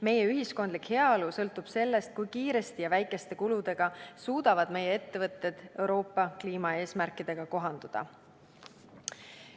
Meie ühiskondlik heaolu sõltub sellest, kui kiiresti ja väikeste kuludega suudavad meie ettevõtted Euroopa kliimaeesmärkidega kohanduda.